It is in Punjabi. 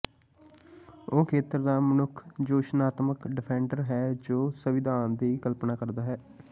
ਉਹ ਖੇਤਰ ਦਾ ਮਨੁੱਖ ਜੋਸ਼ਨਾਤਮਕ ਡਿਫੈਂਡਰ ਹੈ ਜੋ ਉਹ ਸੰਵਿਧਾਨ ਦੀ ਕਲਪਨਾ ਕਰਦਾ ਹੈ